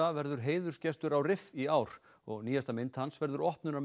verður heiðursgestur á í ár og nýjasta mynd hans verður